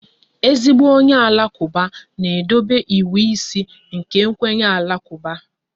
Ezigbo onye Alakuba na-edobe ịwụ ise nke kwenye Alakuba